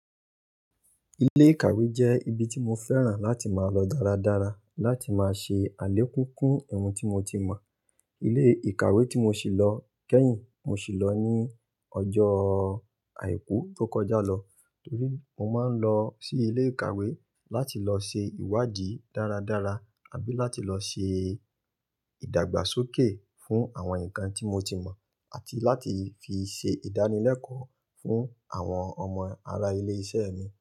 Ilé ìkàwé jẹ́ ibi tí mo fẹ́ràn láti máa lọ dáradára, láti máa ṣe àlékúnkún ohun tí mo ti mọ̀. Ilé ìkàwé tí mo sì lọ kẹ́yìn, mo sì lọ ní ọjọ́ àìkú tó kọjá lọ. Torí mo máa ń lọ sí ilé ìkàwé láti lọ se ìwádìí dáradára, àbí láti lọ ṣe ìdàgbàsókè fún àwọn nǹkan tí mo ti mọ̀, àti láti fi ṣe ìdánilẹ́kọ̀ọ́ fún àwọn ọmọ ará ilé-iṣẹ́ mi.